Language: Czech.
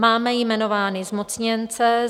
Máme jmenovány zmocněnce.